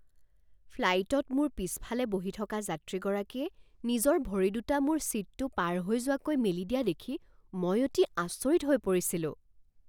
ফ্লাইটত মোৰ পিছফালে বহি থকা যাত্ৰীগৰাকীয়ে নিজৰ ভৰি দুটা মোৰ ছীটটো পাৰ হৈ যোৱাকৈ মেলি দিয়া দেখি মই অতি আচৰিত হৈ পৰিছিলোঁ।